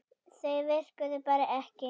Þau virkuðu bara ekki.